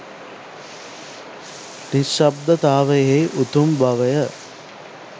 නිශ්ශබ්දතාවයෙහි උතුම් බවය.